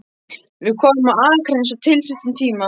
Við komum á Akranes á tilsettum tíma.